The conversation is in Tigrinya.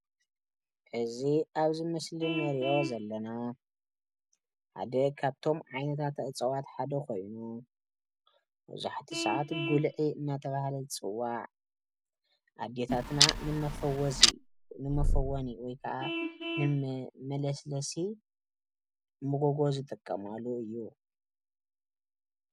ሕዚ ኣብዚ ምስሊ ንሪኦ ዘለና ሓደ ካብቶም ዓይነታት እፅዋት ሓደ ኾይኑ መብዛሕቲኡ ስዓት ጉልዒ እናተበሃለ ዝፅዋዕ ኣዴታትና ንመፈወዚ ንመፈወኒ ወይ ክዓ ንመለስለሲ ሞጎጎ ዝጥቀማሉ እዩ።